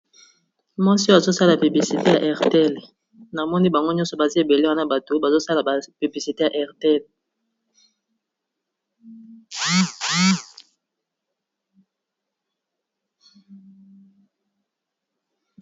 Mwasi oyo azo sala publicite ya Airtel, na moni bango nyonso baza ebele wana bato bazo sala ba publicité ya Airtel.